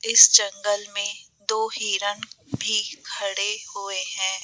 इस जंगल में दो हिरन भी खड़े हुए हैं।